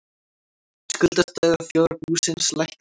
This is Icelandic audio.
Skuldastaða þjóðarbúsins lækkaði